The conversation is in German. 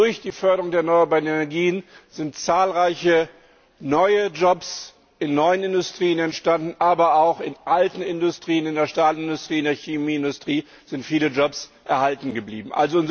Durch die Förderung der erneuerbaren Energien sind zahlreiche neue Jobs in neuen Industrien entstanden, aber auch in alten Industrien in der Stahlindustrie, in der Chemieindustrie sind viele Jobs erhalten geblieben.